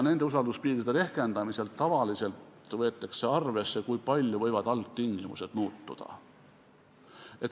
Nende usalduspiiride rehkendamisel võetakse tavaliselt arvesse seda, kui palju võivad algtingimused muutuda.